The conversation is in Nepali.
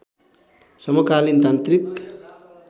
समकालीन तान्त्रिक